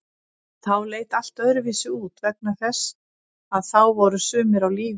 En þá leit allt öðruvísi út vegna þess að þá voru sumir á lífi.